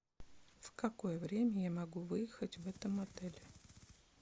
в какое время я могу выехать в этом отеле